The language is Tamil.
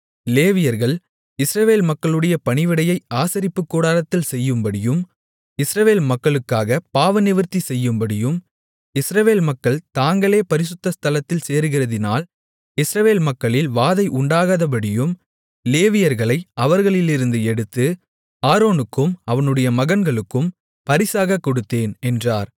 லேவியர்கள் இஸ்ரவேல் மக்களுடைய பணிவிடையை ஆசரிப்புக்கூடாரத்தில் செய்யும்படியும் இஸ்ரவேல் மக்களுக்காகப் பாவநிவிர்த்தி செய்யும்படியும் இஸ்ரவேல் மக்கள் தாங்களே பரிசுத்த ஸ்தலத்தில் சேருகிறதினால் இஸ்ரவேல் மக்களில் வாதை உண்டாகாதபடியும் லேவியர்களை அவர்களிலிருந்து எடுத்து ஆரோனுக்கும் அவனுடைய மகன்களுக்கும் பரிசாகக் கொடுத்தேன் என்றார்